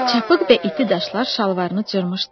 Çapıq və iti daşlar şalvarını cırmışdı.